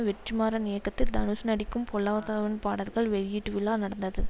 வெற்றிமாறன் இயக்கத்தில் தனுஷ் நடிக்கும் பொல்லாதவன் பாடல்கள் வெளியீட்டுவிழா நடந்தது